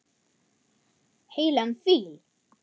Heilan fíl.